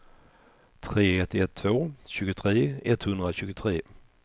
tre ett ett två tjugotre etthundratjugotre